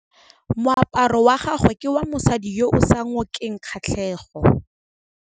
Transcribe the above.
Moaparô wa gagwe ke wa mosadi yo o sa ngôkeng kgatlhegô.